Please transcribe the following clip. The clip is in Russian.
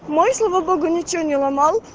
мой слава богу ничего не ломал